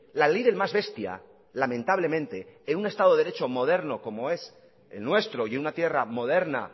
la ley del más bestia lamentablemente en un estado de derecho moderno como es el nuestro y una tierra moderna